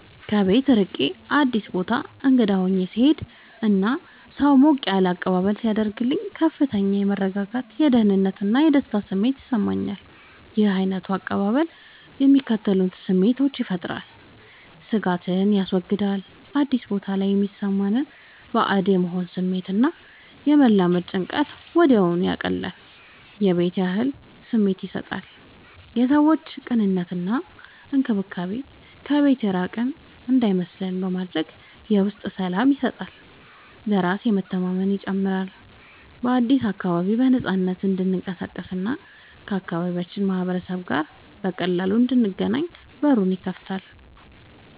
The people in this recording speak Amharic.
ከቤት ርቄ አዲስ ቦታ እንግዳ ሆኜ ስሄድ እና ሰው ሞቅ ያለ አቀባበል ሲያደርግልኝ ከፍተኛ የመረጋጋት፣ የደህንነት እና የደስታ ስሜት ይሰማኛል። ይህ ዓይነቱ አቀባበል የሚከተሉትን ስሜቶች ይፈጥራል፦ ስጋትን ያስወግዳል፦ አዲስ ቦታ ላይ የሚሰማንን ባዕድ የመሆን ስሜት እና የመላመድ ጭንቀትን ወዲያውኑ ያቀልላል። የቤት ያህል ስሜት ይሰጣል፦ የሰዎቹ ቅንነት እና እንክብካቤ ከቤት የራቅን እንዳይመስለን በማድረግ የውስጥ ሰላም ይሰጠናል። በራስ መተማመንን ይጨምራል፦ በአዲሱ አካባቢ በነፃነት እንድንቀሳቀስ እና ከአካባቢው ማህበረሰብ ጋር በቀላሉ እንድንገናኝ በሩን ይከፍትልናል።